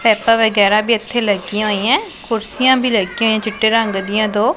ਪਾਈਪਾਂ ਵਗੈਰਾ ਵੀ ਇੱਥੇ ਲੱਗੀਆਂ ਹੋਈਆਂ ਕੁਰਸੀਆਂ ਵੀ ਲੱਗਿਆਂ ਹੋਈਆਂ ਚਿੱਟੇ ਰੰਗ ਦਿਆਂ ਦੋ।